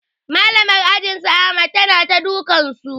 Malamar ajin su ahmad ta na dukan su